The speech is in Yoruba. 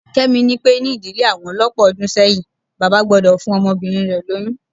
Kẹ́mi ni pé ní ìdílé àwọn lọ́pọ̀ ọdún sẹ́yìn, bàbá gbọ́dọ̀ fún ọmọbìnrin rẹ lóyún